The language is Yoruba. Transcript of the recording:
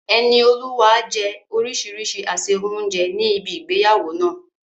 Enioluwa jẹ orísìírísìí àsè oúnjẹ ní ibi ìgbéyàwó náà.